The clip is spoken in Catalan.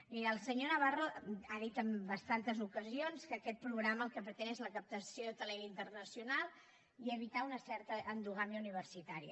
miri el senyor navarro ha dit en bastantes ocasions que aquest programa el que pretén és la captació de talent internacional i evitar una certa endogàmia universitària